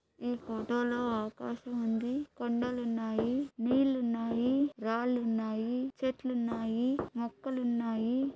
ఈ ఫోటోలో ఆకాశముంది కొండలు ఉన్నాయి నీళ్లు ఉన్నాయి రాళ్లున్నాయి చెట్లు ఉన్నాయి మొక్కలున్నాయి.